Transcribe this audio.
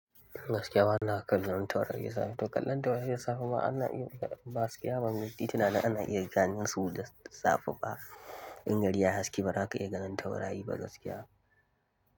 Gaskiya na na kallan taurari ya sa ta. Kallon taurari ya saa ma ana iya ba gaskiya ba, mitti tana nan ana iya ganin su da safe ba. In gari ya haske ba za ka iya ganin taurari ba gaskiya.